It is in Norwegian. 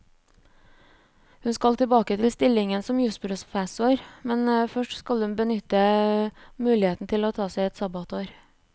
Hun skal tilbake til stillingen som jusprofessor, men først skal hun benytte muligheten til å ta seg et sabbatsår.